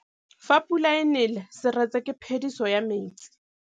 Fa pula e nelê serêtsê ke phêdisô ya metsi.